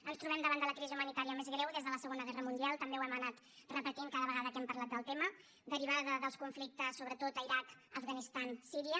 ens trobem davant de la crisi humanitària més greu des de la segona guerra mundial també ho hem anat repetint cada vegada que hem parlat del tema derivada dels conflictes sobretot a l’iraq l’afganistan i síria